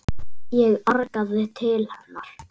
Ég arkaði til hennar.